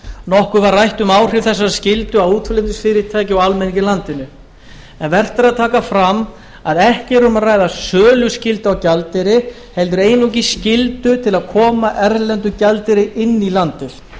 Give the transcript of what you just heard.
nokkuð var rætt um áhrif þessarar skyldu á útflutningsfyrirtæki og almenning í landinu vert er að taka það fram að ekki er um að ræða söluskyldu á gjaldeyri heldur einungis skyldu til að koma erlendum gjaldeyri inn í landið